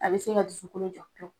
A be se ka dusukun